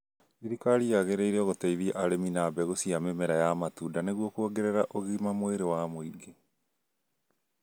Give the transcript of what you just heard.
Thirirkari yagĩrĩirwo gũteithia arĩmi na mabgũ cia mĩmera ya matundanĩguo kuongerera ugima wa mwĩrĩ wa mũingĩ